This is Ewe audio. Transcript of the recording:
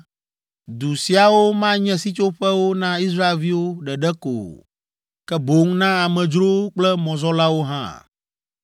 Du siawo manye sitsoƒewo na Israelviwo ɖeɖe ko o, ke boŋ na amedzrowo kple mɔzɔlawo hã.